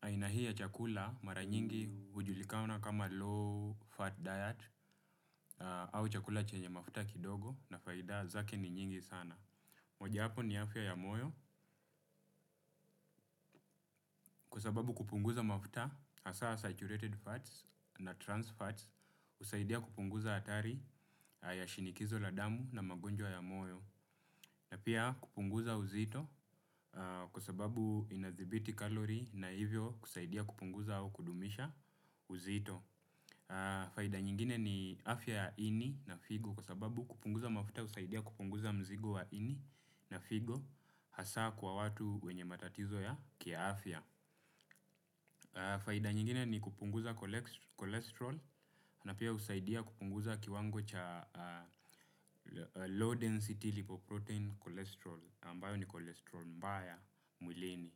Aina hii ya chakula mara nyingi hujulikana kama low fat diet au chakula chenye mafuta kidogo na faida zake ni nyingi sana. Moja hapo ni afya ya moyo kwa sababu kupunguza mafuta, hasaa saturated fats na trans fats, husaidia kupunguza hatari ya shinikizo la damu na magonjwa ya moyo. Na pia kupunguza uzito kwa sababu inadhibiti kalori na hivyo kusaidia kupunguza au kudumisha uzito. Faida nyingine ni afya ya ini na figo kwa sababu kupunguza mafuta usaidia kupunguza mzigo ya ini na figo hasa kwa watu wenye matatizo ya kia afya. Faida nyingine ni kupunguza cholesterol na pia husaidia kupunguza kiwango cha kow density repoprotein cholesterol ambayo ni cholesterol mbaya mwilini.